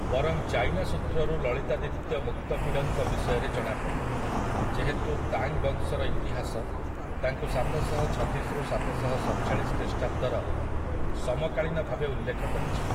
ବରଂ ଚାଇନା ସୂତ୍ରରୁ ଲଳିତାଦିତ୍ୟ ମୁକ୍ତପିଡ଼ଙ୍କ ବିଷୟରେ ଜଣାପଡ଼େ, ଯେହେତୁ ତାଙ୍ଗ୍ ବଂଶର ଇତିହାସ ତାଙ୍କୁ ସାତଶହଛତିଶ ରୁ ସାତଶହସତଚାଳିଶ ଖ୍ରୀଷ୍ଟାବ୍ଦର ସମକାଳୀନ ଭାବେ ଉଲ୍ଲେଖ କରିଛି ।